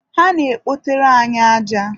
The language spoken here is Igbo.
ha na-ekpotere anyị aja.